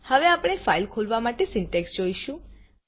હવે આપણે ફાઈલ ખોલવા માટે સિન્ટેક્ષ જોઈશું